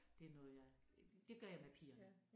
Det noget jeg det gør jeg med pigerne